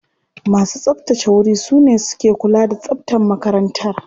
Masu tsabtace wuri su ne suke kula da tsabtar makarantar.